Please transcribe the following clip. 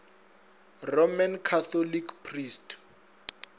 roman catholic priest